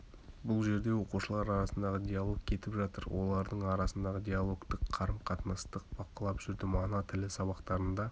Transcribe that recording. бұл жерде оқушылар арасындағы диалог кетіп жатыр олардың арасындағы диалогтік қарым-қатынасты бақылап жүрдім ана тілі сабақтарында